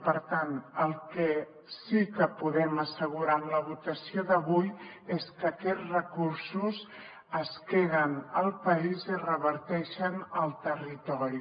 per tant el que sí que podem assegurar amb la votació d’avui és que aquests recursos es queden al país i reverteixen al territori